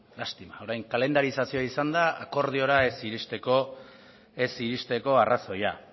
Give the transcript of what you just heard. lastima orain kalendarizazioa izan da akordioa ez iristeko arrazoia